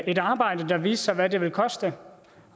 et arbejde der viste hvad det ville koste